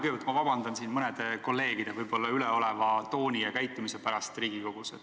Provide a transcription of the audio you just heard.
Kõigepealt palun vabandust mõne kolleegi võib-olla üleoleva tooni ja käitumise pärast Riigikogus.